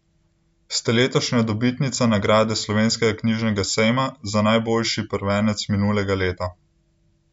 Ste letošnja dobitnica nagrade Slovenskega knjižnega sejma za najboljši prvenec minulega leta.